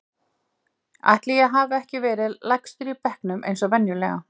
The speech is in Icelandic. Ætli ég hafi ekki verið lægstur í bekknum eins og venjulega.